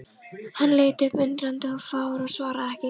Hann leit upp undrandi og fár og svaraði ekki.